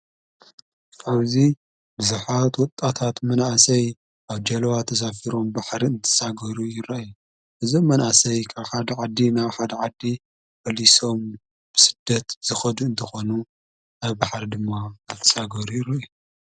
ፍብዙ ብዙኃት ወጣታት መናእሰይ ኣብ ጃለዋ ተዛፊሮ ን ባሕሪ እንትሳጐሩ ይረእየ እዞም መናእሰይ ካልኻ ደ ዓዲ ናብ ሓ ደዓዲ ዕሊሶም ብስደት ዝኸዱ እንተኾኑ ኣብ ባሓሪ ድማ ኣትሳጐሩ ይረአዩ።